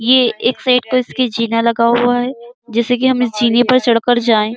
ये एक साइड पर इसकी चिन्हा लगा हुआ है जैसे कि हम इस चिन्हे पर चढ़ कर जाए।